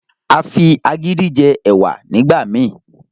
A fí agídí jé ẹwà nígbà mí